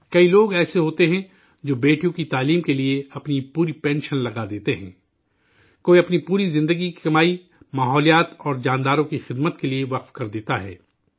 کئی لوگ ایسے ہوتے ہیں جو بیٹیوں کی تعلیم کے لیے اپنی پوری پنشن لگا دیتے ہیں، کوئی اپنی پوری زندگی کی کمائی ماحولیات اور جانداروں کی خدمت کے لیے وقف کر دیتا ہے